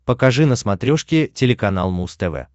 покажи на смотрешке телеканал муз тв